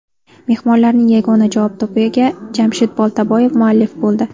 Mehmonlarning yagona javob to‘piga Jamshid Boltaboyev muallif bo‘ldi.